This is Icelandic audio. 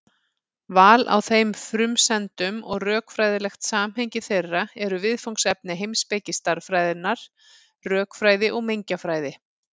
Val á þeim frumsendum og rökfræðilegt samhengi þeirra eru viðfangsefni heimspeki stærðfræðinnar, rökfræði og mengjafræði.